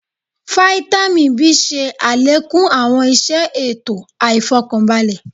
Fáítámì B ṣe àlékún àwọn iṣẹ ètò àìfọkanbalẹ̀